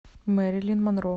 мэрилин монро